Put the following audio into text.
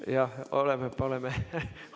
Jah, paneme-paneme.